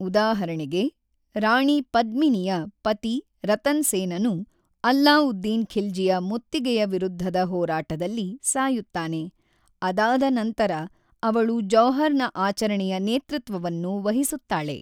ಉದಾಹರಣೆಗೆ, ರಾಣಿ ಪದ್ಮಿನಿಯ ಪತಿ ರತನ್ ಸೇನನು ಅಲ್ಲಾವುದ್ದೀನ್ ಖಿಲ್ಜಿಯ ಮುತ್ತಿಗೆಯ ವಿರುದ್ಧದ ಹೋರಾಟದಲ್ಲಿ ಸಾಯುತ್ತಾನೆ, ಅದಾದ ನಂತರ ಅವಳು ಜೌಹರ್‌ನ ಆಚರಣೆಯ ನೇತೃತ್ವವನ್ನು ವಹಿಸುತ್ತಾಳೆ.